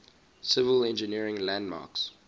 civil engineering landmarks